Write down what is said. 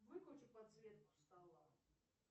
выключи подсветку стола